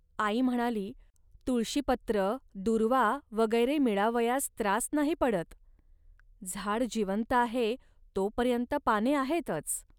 आई म्हणाली, "तुळशीपत्र, दूर्वा वगैरे मिळावयास त्रास नाही पडत. झाड जिवंत आहे, तोपर्यंत पाने आहेतच